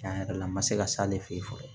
Tiɲɛ yɛrɛ la n ma se ka s'ale fɛ yen fɔlɔ